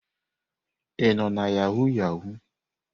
Ị nọ na yahụ yahụ?